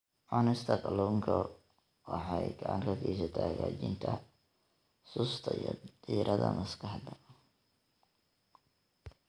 Cunista kalluunka waxay gacan ka geysataa hagaajinta xusuusta iyo diiradda maskaxda.